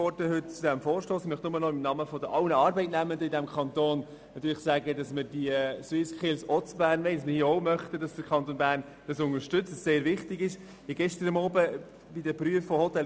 Ich möchte nur noch im Namen aller Arbeitnehmenden in diesem Kanton sagen, dass wir die SwissSkills ebenfalls in Bern durchführen möchten und es wichtig finden, dass der Kanton Bern sie unterstützt.